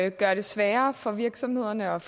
og gøre det sværere for virksomhederne og